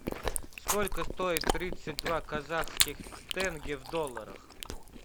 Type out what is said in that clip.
сколько стоит тридцать два казахских тенге в долларах